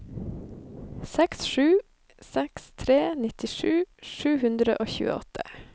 seks sju seks tre nittisju sju hundre og tjueåtte